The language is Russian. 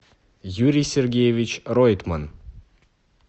юрий сергеевич ройтман